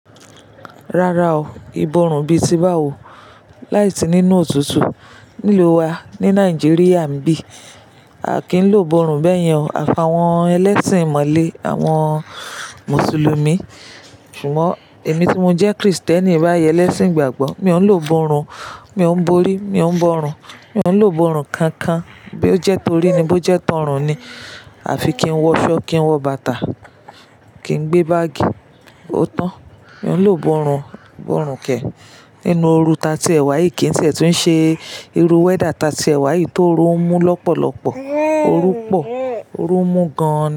Rara o, ìborùn bíi ti bá wo láìsí nínú òtútù. Nílu wa ní Nàìjíríà nìbí, a kì í lò borùn bẹ́yẹn àfàwọ́n ẹlẹ́sìn ìmọ̀le àwọn mùsùlùmí. Ṣùgbọ́n èmi tí mo jẹ́ Kristẹni báyẹ́n lẹ́sìn ìgbàgbọ́ mi ò ń lò borùn, mi ò ń borí, mi ò ń bọrun, mi ò ń lò borùn kan-kan bí ó jẹ́ torí ní bó jẹ́ tọrùn ni. Àfi kí n wọ ṣọ́ọ́kì, kí n wọ bàtà, kí n gbé báágì. Ó tán. Mi ò ń lò borùn, borùn kẹ́ nínú oorú ta tí ẹ̀ wá yìí kí n ti ẹ tu ń ṣe irú wẹ́dà ta tí ẹ̀ wá yìí tó oru n mú lọ́pọ̀lọpọ̀. Orú pọ̀, orú ń mú gan-an.